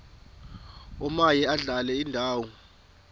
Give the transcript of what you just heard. omaye adlale indawo